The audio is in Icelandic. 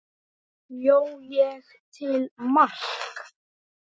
Bjó ég til mark?